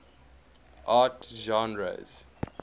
art genres